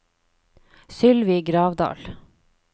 Sylvi Gravdal